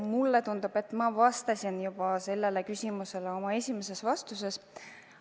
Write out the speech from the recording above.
Mulle tundub, et ma vastasin sellele küsimusele juba oma esimeses vastuses.